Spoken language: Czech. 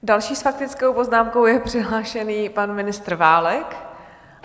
Další s faktickou poznámkou je přihlášený pan ministr Válek.